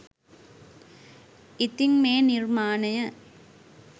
ඉතින් මේ නිර්මාණය